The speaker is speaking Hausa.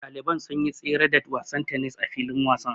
Ɗaliban sun yi tsere da wasan tennis a filin wasan.